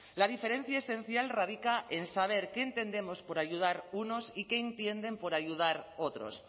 la diferencia esencial radica en saber qué entendemos por ayudar unos y qué entienden por ayudar otros